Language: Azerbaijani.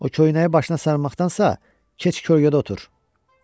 O köynəyi başına sarmaqdansa, keç kölgəliyə otur.